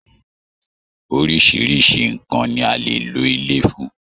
Oríṣiríṣi nnkan ní a lè lò ilé fún.